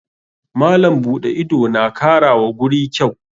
Malam buɗe ido na kara wa guri kyau.